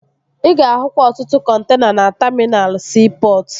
Ị ga-ahụkwa ọtụtụ kọntena na taminal siipọtụ